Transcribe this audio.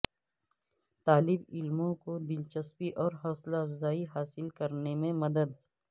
طالب علموں کو دلچسپی اور حوصلہ افزائی حاصل کرنے میں مدد